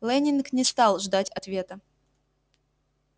лэннинг не стал ждать ответа